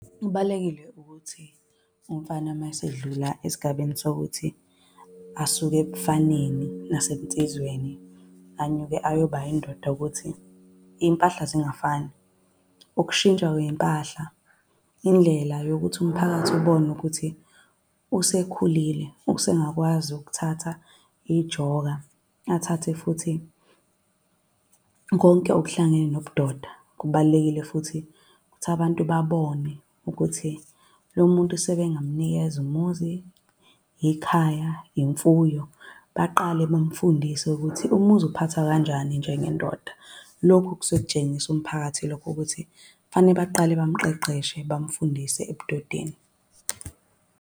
Kubalulekile ukuthi umfana uma esedlula esigabeni sokuthi asuke ebufaneni nasebunsizweni anyuke ayoba yindoda ukuthi iy'mpahla zingafani. Ukushintsha kwey'mpahla indlela yokuthi umphakathi ubone ukuthi usekhulile, usengakwazi ukuthatha ijoka athathe futhi konke okuhlangene nobudoda. Kubalulekile futhi ukuthi abantu babone ukuthi lo muntu sebengamunikeza umuzi, ikhaya, imfuyo. Baqale bamfundise ukuthi umuzi uphathwa kanjani njengendoda. Lokhu kusuke kutshengisa umphakathi lokho ukuthi fanele baqale bamqeqeshe bamfundise ebudodeni.